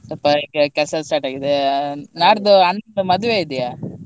ಸ್ವಲ್ಪ ಈಗ ಕೆಲ್ಸ start ಆಗಿದೆ ನಾಡ್ದು ಅಣ್ಣಂದು ಮದ್ವೆ ಇದೆಯಾ?